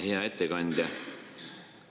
Hea ettekandja!